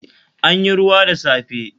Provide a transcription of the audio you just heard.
An yi ruwa da safe